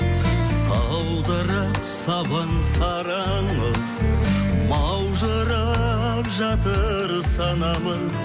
саудырап сабын сары аңыз маужырап жатыр санамыз